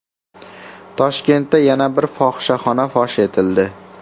Toshkentda yana bir fohishaxona fosh etildi.